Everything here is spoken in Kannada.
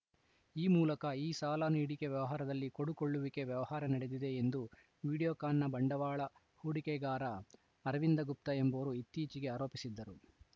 ಈ ಮೂಲಕ ಈ ಸಾಲ ನೀಡಿಕೆ ವ್ಯವಹಾರದಲ್ಲಿ ಕೊಡುಕೊಳ್ಳುವಿಕೆ ವ್ಯವಹಾರ ನಡೆದಿದೆ ಎಂದು ವಿಡಿಯೋಕಾನ್‌ನ ಬಂಡವಾಳ ಹೂಡಿಕೆದಾರ ಅರವಿಂದ ಗುಪ್ತಾ ಎಂಬುವರು ಇತ್ತೀಚೆಗೆ ಆರೋಪಿಸಿದ್ದರು